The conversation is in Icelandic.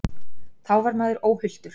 Þá var maður óhultur.